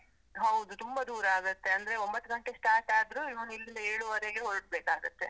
ಹೌದು, ತುಂಬ ದೂರ ಆಗುತ್ತೆ ಅಂದ್ರೆ, ಒಂಬತ್ತು ಗಂಟೆಗ್ start ಆದ್ರೂ, ಇವ್ನು ಇಲ್ಲಿಂದ ಏಳುವರೇಗೆ ಹೊರಡ್ಬೇಕಾಗುತ್ತೆ.